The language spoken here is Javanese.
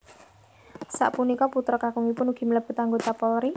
Sapunika putra kakungipun ugi mlebet anggota Polri